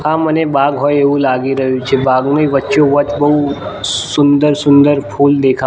આ મને બાગ હોય એવુ લાગી રહ્યુ છે બાગની વચ્ચો વચ બઉ સુંદર સુંદર ફૂલ દેખા--